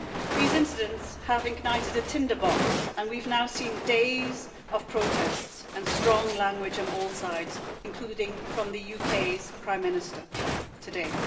These incidents have ignited a tinderbox, and we've now seen days of protests and strong language on all sides, including from the UK's Prime Minister today.